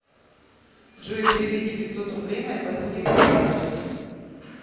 джой переведи пятьсот рублей моей подруге ксении